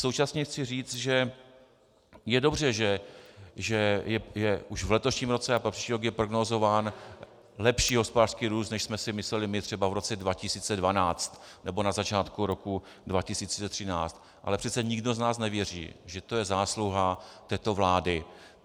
Současně chci říct, že je dobře, že už v letošním roce a pro příští rok je prognózován lepší hospodářský růst, než jsme si mysleli my třeba v roce 2012 nebo na začátku roku 2013, ale přece nikdo z nás nevěří, že to je zásluha této vlády.